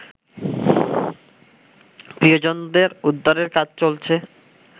প্রিয়জনদের উদ্ধারের কাজ চলছে